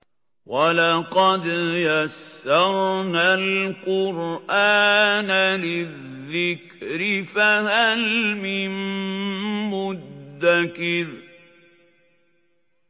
وَلَقَدْ يَسَّرْنَا الْقُرْآنَ لِلذِّكْرِ فَهَلْ مِن مُّدَّكِرٍ